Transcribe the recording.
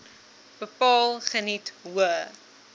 bepaal geniet hoë